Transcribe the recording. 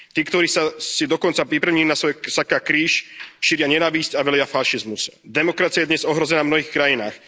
Tí, ktorí si dokonca pripevnili na svoje saká kríž, šíria nenávisť a velia fašizmus. Demokracia je dnes ohrozená v mnohých krajinách.